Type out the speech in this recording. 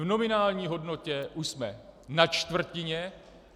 V nominální hodnotě jsme už na čtvrtině.